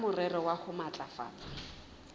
ka morero wa ho matlafatsa